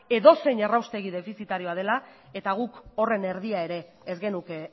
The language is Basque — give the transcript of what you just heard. edozein erraustegi defizitarioa dela eta guk horren erdia ere ez genuke